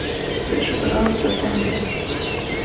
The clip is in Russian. включи пожалуйста тнт